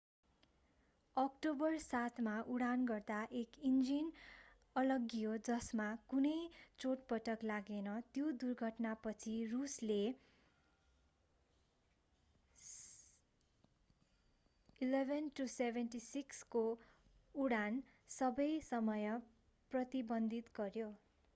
October 7 मा उडान गर्दा एउटा इन्जिन अलग्गियो जसमा कुनै चोटपटक लागेन। त्यो दुर्घटनापछि रूसले il-76s को उडान केही समय प्रतिबन्धित गर्‍यो।